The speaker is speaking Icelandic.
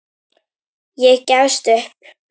Ég gefst upp